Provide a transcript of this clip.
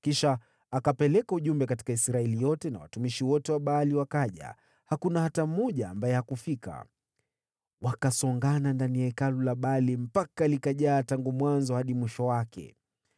Kisha Yehu akapeleka ujumbe katika Israeli yote, nao watumishi wote wa Baali wakaja, hakuna hata mmoja ambaye hakufika. Wakasongana ndani ya hekalu la Baali hadi likajaa tangu mlango hadi mwisho wake.